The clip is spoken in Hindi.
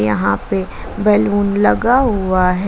यहां पे बैलून लगा हुआ है।